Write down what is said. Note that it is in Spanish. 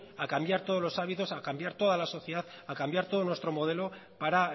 a cambiar todos los hábitos a cambiar toda la sociedad a cambiar todo nuestro modelo para